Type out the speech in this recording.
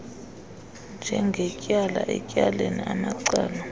njengetyala etyaleni amacala